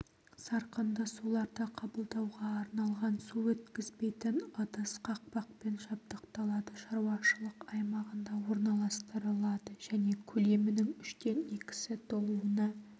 сарқынды суларды қабылдауға арналған су өткізбейтін ыдыс қақпақпен жабдықталады шаруашылық аймағында орналастырылады және көлемінің үштен екісі толуына